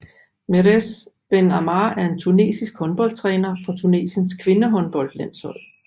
Mehrez Ben Ammar er en tunesisk håndboldtræner for Tunesiens kvindehåndboldlandshold